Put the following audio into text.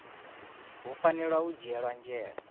hu fanela u dzhielwa nzhele